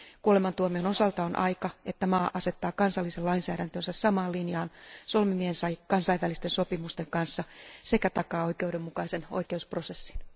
Kuolemantuomion osalta on aika, että maa asettaa kansallisen lainsäädäntönsä samaan linjaan solmimiensa kansainvälisten sopimusten kanssa sekä takaa oikeudenmukaisen oikeusprosessin.